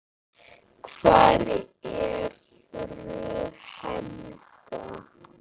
Hvar er frú Helga?